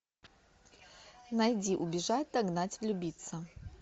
найди убежать догнать влюбиться